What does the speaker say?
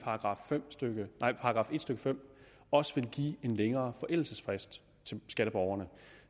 § en stykke fem også vil give en længere forældelsesfrist til skatteborgerne